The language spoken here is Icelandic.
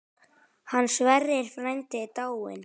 Hann Sverrir frændi er dáinn.